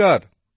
নমস্কার